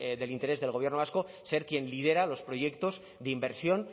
del interés del gobierno vasco ser quien lidera los proyectos de inversión